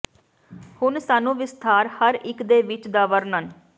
ਹੁਣ ਸਾਨੂੰ ਵਿਸਥਾਰ ਹਰ ਇੱਕ ਦੇ ਵਿੱਚ ਦਾ ਵਰਣਨ